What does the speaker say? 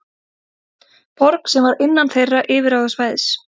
Borg sem var innan þeirra yfirráðasvæðis.